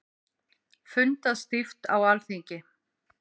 Fundað stíft á Alþingi